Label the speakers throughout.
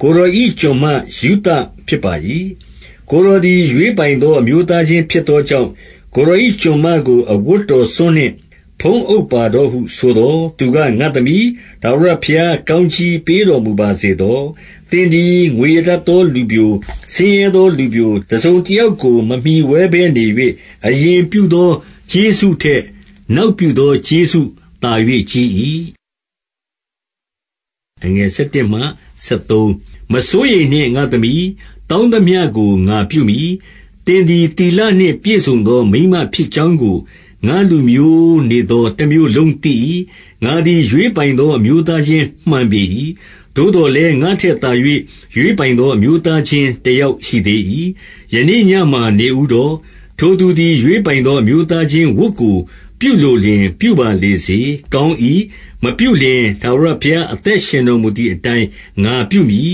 Speaker 1: ကိုယ်တော်၏ ကျွန်မရုသဖြစ်ပါ၏။ ကိုယ်တော်သည်ရွေးပိုင်သော အမျိုးသားချင်းဖြစ်သော ကြောင့်၊ ကိုယ်တော်၏ ကျွန်မကိုအဝတ်တော်စွန်းနှင့် ဖုံးပါတော့ဟုဆိုသော်၊ 10 သူက၊ ငါ့သမီး၊ ထာဝရဘုရားကောင်းကြီးပေးတော်မူပါစေသော။ သင်သည်ငွေရ တတ်သောလူပျို၊ ဆင်းရဲသောလူပျို တစုံတယောက်ကို မမှီဝဲဘဲနေ၍၊ အရင်ပြုသောကျေးဇူးထက် နောက်ပြုသောကျေးဇူး သာ၍ကြီး၏။ 11 မစိုးရိမ်နှင့်ငါ့သမီး။ တောင်းသမျှကို ငါပြုမည်။ သင်သည်သီလနှင့်ပြည့်စုံသောမိန်းမဖြစ်ကြောင်းကို ငါ့လူမျိုးနေသော တမြို့လုံးသိ၏။ 12 ငါသည်ရွေးပိုင်သော အမျိုးသားချင်းမှန်ပေ၏။ သို့သော်လည်းငါ့ထက်သာ၍ ရွေးပိုင်သော အမျိုးသားချင်းတယောက်ရှိသေး၏။ 13 ယနေ့ညမှာနေဦးတော့၊ ထိုသူသည်ရွေးပိုင်သော အမျိုးသားချင်း ဝတ်ကိုပြုလိုလျှင်ပြုပါလေစေ။ ကောင်း၏။ မပြုလျှင်ထာဝရဘုရားအသက်ရှင်တော်မူသည်အတိုင်း ငါပြုမည်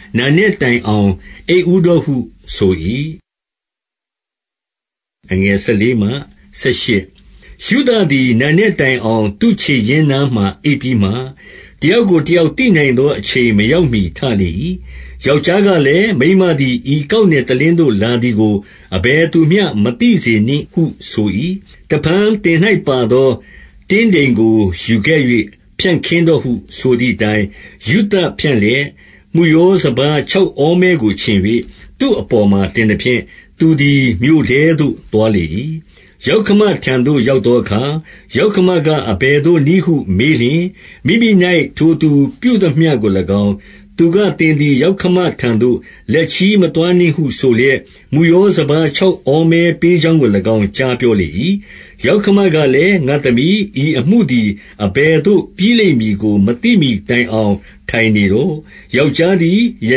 Speaker 1: ။ နံနက်တိုင်အောင် အိပ်ဦးတော့ ဟုဆို၏။ 14 ရုသသည်နံနက်တိုင်အောင်သူ့ခြေရင်းနားမှာအိပ်ပြီးမှ၊ တယောက်ကို တယောက် သိနိုင်သော အချိန်မရောက်မှီထလေ၏။ ယောက်ျားကလည်း၊ မိန်းမသည် ဤကောက်နယ် တလင်းသို့လာသည်ကို အဘယ်သူမျှမသိစေနှင့်ဟုဆို၏။ 15 တဖန်သင်၌ပါသော တင်းတိမ်ကိုယူခဲ့၍ဖြန့်ခင်းတော့ဟုဆိုသည်အတိုင်း၊ ရုသဖြန့်လျက် မုယောစပါးခြောက်ဩမဲကိုခြင်၍ သူ့အပေါ်မှာတင်သဖြင့်၊ သူသည်မြို့ထဲသို့ သွားလေ၏။ 16 ယောက္ခမထံသို့ ရောက်သောအခါ၊ ယောက္ခမကအဘယ်သို့နည်းဟု မေးလျှင်၊ မိမိ၌ထိုသူပြုသမျှကို၎င်း၊ 17 သူက၊ သင်သည်ယောက္ခမထံသို့လက်ချည်းမသွားနှင့်ဟုဆိုလျက် မုယောစပါးခြောက်ဩမဲပေးကြောင်း ကို၎င်း ကြားပြောလေ၏။ 18 ယောက္ခမာလည်း၊ ငါ့သမီး၊ ဤအမှုသည်အဘယ်သို့ပြီးလိမ့်မည်ကိုမသိမှီတိုင်အောင် ထိုင်နေလော့။ ယောက်ျားသည် ယ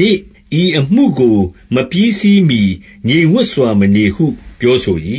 Speaker 1: နေ့ ဤအမှုကိုမပြီးစီးမှီငြိမ်ဝင်စွာမနေဟုပြောဆို၏